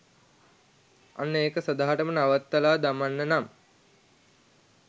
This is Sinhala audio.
අන්න එක සදහටම නවත්තල දමන්න නම්